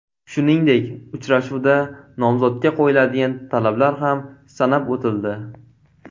Shuningdek, uchrashuvda nomzodga qo‘yiladigan talablar ham sanab o‘tildi.